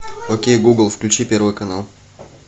окей гугл включи первый канал